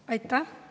Aitäh!